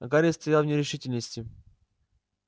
гарри стоял в нерешительности